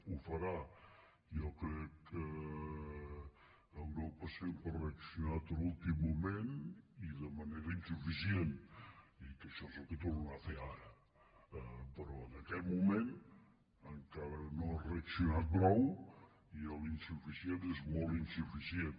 ho farà jo crec que europa sempre ha reaccionat a l’últim moment i de manera insuficient i que això és el que tornarà a fer ara però en aquest moment encara no ha reaccionat prou i l’insuficient és molt insuficient